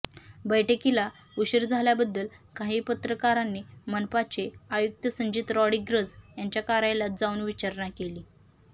बैठकीला उशीर झाल्याबद्दल काही पत्रकारांनी मनपाचे आयुक्त संजित रॉड्रिग्ज यांच्या कार्यालयात जाऊन विचारणा केली